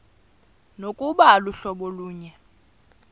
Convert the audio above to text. nokuba aluhlobo lunye